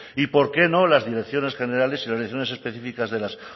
y por qué no las direcciones generales y las direcciones específicas de las